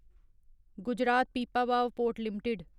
Gujarat Pipavav port limited